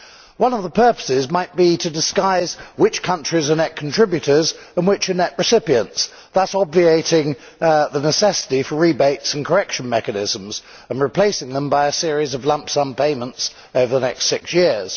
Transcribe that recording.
One of the purposes might be to disguise which countries are net contributors and which are net recipients, thus obviating the necessity for rebates and correction mechanisms and replacing them by a series of lump sum payments over the next six years.